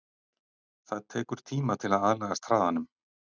Það tekur tíma til að aðlagast hraðanum.